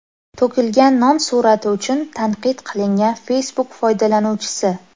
To‘kilgan non surati uchun tanqid qilingan Facebook foydalanuvchisi.